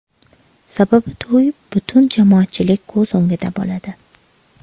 Sababi to‘y butun jamoatchilik ko‘z o‘ngida bo‘ladi.